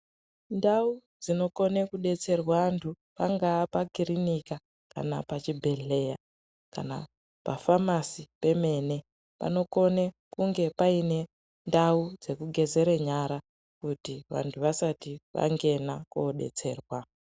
Ndau dzinokone kudetserwa anthu pangaa pakirinika kana pachibhedhleya kana pafamasi pemene panokone kunge paine ndau dzekugezere nyara kuti vanthu vasati vangena kodetserwa.